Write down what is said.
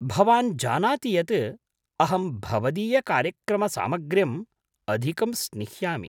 भवान् जानाति यत् अहं भवदीयकार्यक्रमसामग्र्यम् अधिकं स्निह्यामि।